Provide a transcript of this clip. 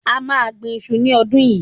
A máa gbin iṣu ní ọdún yìí